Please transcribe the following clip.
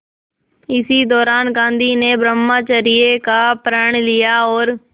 इसी दौरान गांधी ने ब्रह्मचर्य का प्रण लिया और